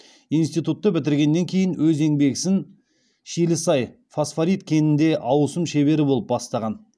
институтты бітіргеннен кейін өз еңбек ісін шилісай фосфорит кенінде ауысым шебері болып бастаған